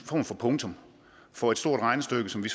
form for punktum for et stort regnestykke som vi